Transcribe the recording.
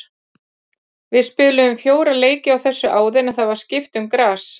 Við spiluðum fjóra leiki á þessu áður en það var skipt um gras.